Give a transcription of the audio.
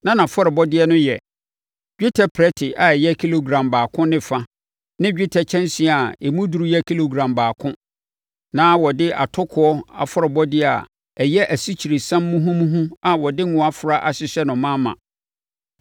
Na nʼafɔrebɔdeɛ no yɛ: dwetɛ prɛte a ɛyɛ kilogram baako ne fa ne dwetɛ kyɛnsee a emu duru yɛ kilogram baako. Na wɔde atokoɔ afɔrebɔdeɛ a ɛyɛ asikyiresiam muhumuhu a wɔde ngo afra ahyehyɛ no ma ma.